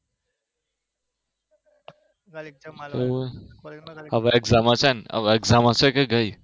હમ હવે exam હશે ને હવે exam હશે કે ગયી